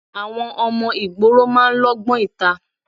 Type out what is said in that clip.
Àwọn ọmọ ìgboro máa ń lógbón ìta.